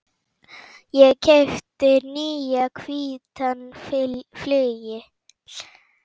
Ég keypti nýjan hvítan flygil.